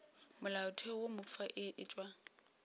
molaotheo wo mofsa e tšewa